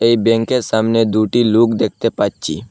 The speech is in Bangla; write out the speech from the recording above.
এই ব্যাংকের সামনে দুটি লোক দেখতে পাচ্ছি।